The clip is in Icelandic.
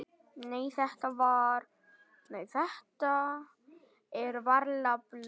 Nei, þetta er varla blóð.